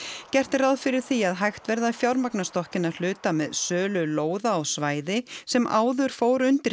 gert er ráð fyrir því að hægt verði að fjármagna stokkinn að hluta með sölu lóða á svæði sem áður fór undir